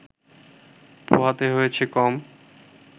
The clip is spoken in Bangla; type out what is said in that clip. পোহাতে হয়েছে কম